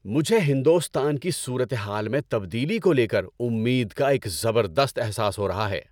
مجھے ہندوستان کی صورتحال میں تبدیلی کو لے کر امید کا ایک زبردست احساس ہو رہا ہے۔